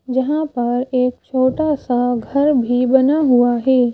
जहाँ पर एक छोटा सा घर भी बना हुआ है।